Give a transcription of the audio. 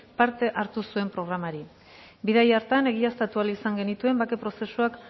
parte hartu zuen programari bidaia hartan egiaztatu ahal izan genituen bake prozesuak